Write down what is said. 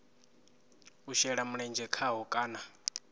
u shela mulenzhe khaho kana